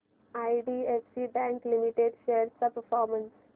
IDFC bank limited shares चा performance